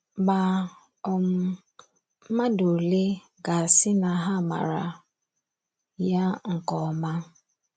Ma, um mmadụ ole ga - asị na ha maara ya nke ọma?